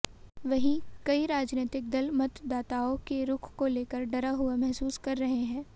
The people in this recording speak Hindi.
वहीं कई राजनीतिक दल मतदाताओं के रुख को लेकर डरा हुआ महसूस कर रहे हैं